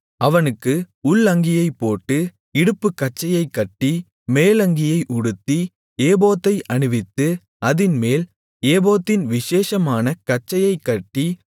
அவனுக்கு உள் அங்கியைப் போட்டு இடுப்புக்கச்சையைக் கட்டி மேலங்கியை உடுத்தி ஏபோத்தை அணிவித்து அதின்மேல் ஏபோத்தின் விசேஷமான கச்சையைக்கட்டி